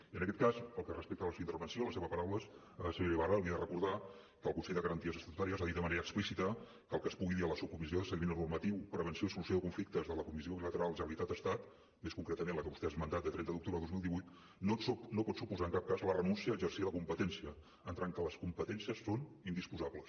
i en aquest cas pel que respecta a la seva intervenció a les seves paraules senyora ibarra li he de recordar que el consell de garanties estatutàries ha dit de manera explícita que el que es pugui dir a la subcomissió de seguiment normatiu prevenció i solució de conflictes de la comissió bilateral generalitat estat més concretament la que vostè ha esmentat de trenta d’octubre de dos mil divuit no pot suposar en cap cas la renúncia a exercir la competència en tant que les competències són indisposables